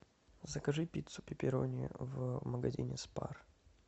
закажи пиццу пепперони в магазине спар